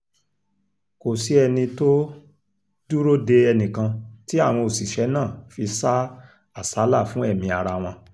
kò sí ẹni tó dúró de ẹnìkan tí àwọn òṣìṣẹ́ náà fi sá àsálà fún ẹ̀mí ara wọn